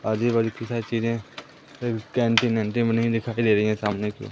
आजू बाजू कई सारे चीजें बनी दिखाई दे रही हैं सामने कि ओ--